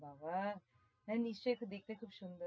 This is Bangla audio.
বাবাহ তাহলে নিশ্চয়ই দেখতে খুব সুন্দর।